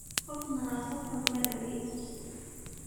Qof nadhafat xum marabii.